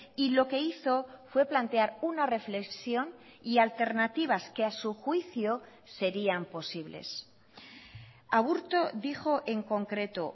y lo que hizo fue plantear una reflexión y alternativas que a su juicio serían posibles aburto dijo en concreto